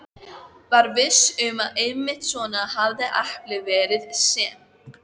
Var viss um að einmitt svona hefði eplið verið sem